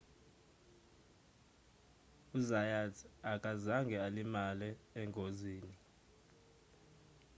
u-zayat akazange alimale engozini